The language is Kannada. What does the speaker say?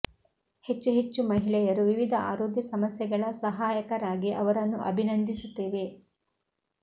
ಹೆಚ್ಚು ಹೆಚ್ಚು ಮಹಿಳೆಯರು ವಿವಿಧ ಆರೋಗ್ಯ ಸಮಸ್ಯೆಗಳ ಸಹಾಯಕರಾಗಿ ಅವರನ್ನು ಅಭಿನಂದಿಸುತ್ತೇವೆ